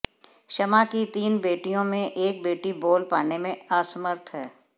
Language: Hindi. शमा की तीन बेटियों में एक बेटी बोल पाने में असमर्थ है